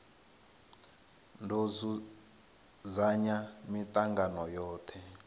do dzudzanya mitangano yothe wa